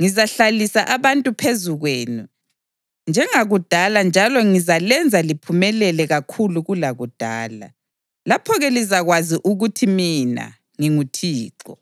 Ngizahlalisa abantu phezu kwenu njengakudala njalo ngizalenza liphumelele kakhulu kulakudala. Lapho-ke lizakwazi ukuthi mina nginguThixo.